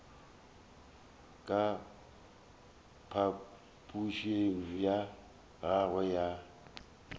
ka phapošing ya gagwe ga